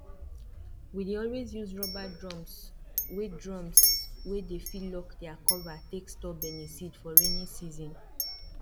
we dey always use rubber drums wey drums wey dey fit lock their cover take store beniseed for rainy season